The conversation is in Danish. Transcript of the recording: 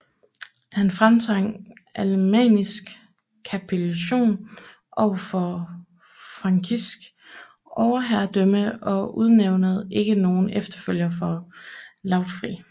Han fremtvang alemannisk kapitulation overfor frankisk overherredømme og udnævnede ikke nogen efterfølger for Lautfrid